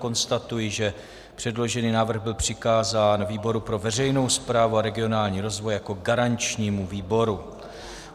Konstatuji, že předložený návrh byl přikázán výboru pro veřejnou správu a regionální rozvoj jako garančnímu výboru.